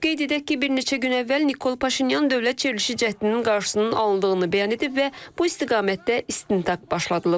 Qeyd edək ki, bir neçə gün əvvəl Nikol Paşinyan dövlət çevrilişi cəhdinin qarşısının alındığını bəyan edib və bu istiqamətdə istintaq başladılıb.